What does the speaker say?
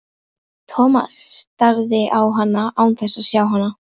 Thomas starði á hann án þess að sjá hann.